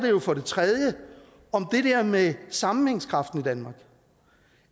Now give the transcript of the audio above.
jo for det tredje om det der med sammenhængskraften i danmark